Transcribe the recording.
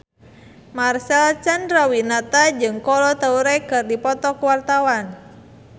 Marcel Chandrawinata jeung Kolo Taure keur dipoto ku wartawan